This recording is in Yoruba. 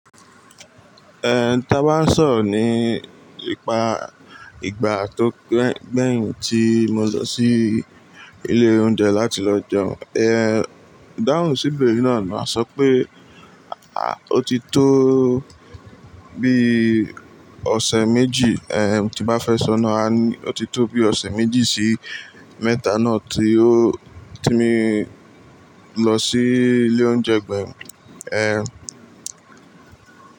Eh, tá bá sọ̀rọ̀ ni nípa ìgbà tó gbẹ̀yìn tí mo lọ sí ilé oúnjẹ láti lọ jẹun, eh, idáhùn sí Ìbéèrè yì náà máa sọ pé, a, ó ti tó bí ọ̀sẹ̀ méjì, eh, tí bá fẹ́ sọ náà, a ní ó ti tó bí ọ̀sẹ̀ méjì sí mẹ́ta náà tí ó-- tí mo lọ sí ilé oúnjẹ gbẹ̀yìn, eh.